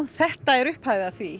þetta er upphafið að því